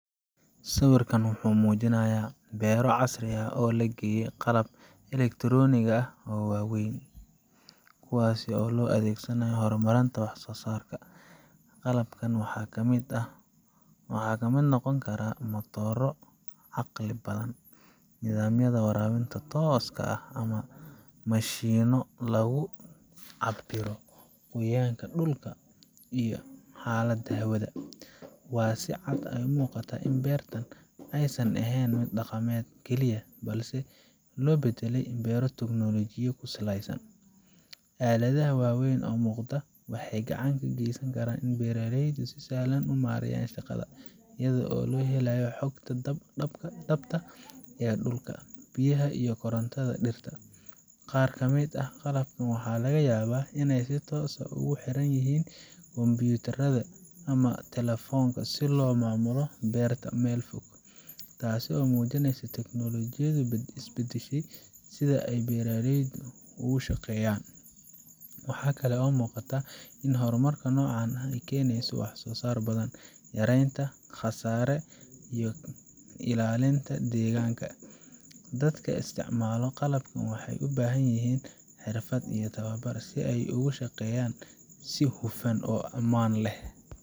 Sawirkan wuxuu muujinayaa beero casri ah oo la geliyay qalab elektaroonig ah oo waaweyn, kuwaas oo loo adeeg sanayo horumarinta wax soo saarka. Qalabkan waxaa ka mid noqon kara matoorro caqli badan, nidaamyada waraabinta tooska ah, ama mashiinno lagu cabbiro qoyaanka dhulka iyo xaaladda hawada. Waxaa si cad u muuqata in beertan aysan ahayn mid dhaqameed keliya, balse loo beddelay beero tiknoolajiyo ku saleysan. Aaladaha waaweyn ee muuqda waxay gacan ka geysanayaan in beeraleydu si sahlan u maareeyaan shaqada, iyaga oo helaya xogta dhabta ah ee dhulka, biyaha, iyo korotanda dhirta. Qaar kamid ah qalabkan waxaa laga yaabaa in ay si toos ah ugu xirmaan kumbuyuutarro ama telefoonno si loo maamulo beerta meel fog, taasoo muujinaysa in teknoolojiyadu ay beddeshay sida ay beeraleydu u shaqeeyaan. Waxaa kale oo muuqata in horumarka noocan ah uu keenayo wax soo saar badan, yareynta khasaare, iyo ilaalinta deegaanka. Dadka isticmaala qalabkan waxay u baahan yihiin xirfad iyo tababar, si ay ugu shaqeeyaan si hufan oo ammaan leh.